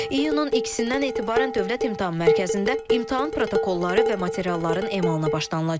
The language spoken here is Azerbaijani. İyunun ikisindən etibarən Dövlət İmtahan Mərkəzində imtahan protokolları və materialların emalına başlanılacaq.